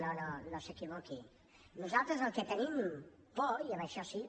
no no no s’equivoqui nosaltres del que tenim por i en això sí